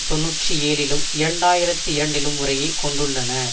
தொன்னூற்றி ஏழு லிலும் இரண்டு ஆயிரத்தி இரண்டு லும் முறையே கொண்டுள்ளன